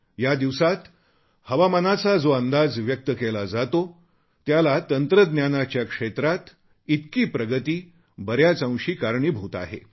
या दिवसांत हवामानाचा जो अंदाज व्यक्त केला जातो त्याला तंत्रज्ञानाच्या क्षेत्रात इतकी प्रगती बऱ्याच अंशी कारणीभूत आहे